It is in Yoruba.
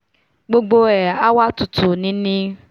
gbogbo ẹ̀ á wá tutù nini